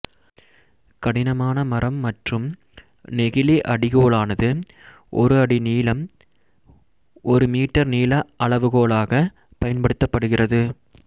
கடினமான மரம் மற்றும் நெகிழி அடிகோலானது ஒரு அடி நீளம் ஒரு மீட்டர் நீள அளவுகோலாக பயன்படுத்தப்படுகிறது